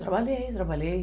Trabalhei, trabalhei.